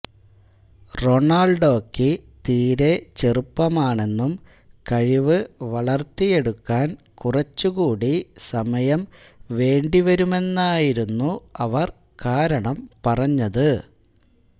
റൊണാൾഡോക്ക് തീരേ ചെറുപ്പമാണെന്നും കഴിവ് വളർത്തിയെടുക്കാൻ കുറച്ചുകൂടി സമയം വേണ്ടിവരുമെന്നുമായിരുന്നു അവർ കാരണം പറഞത്